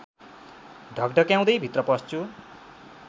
ढकढक्याउँदै भित्र पस्छु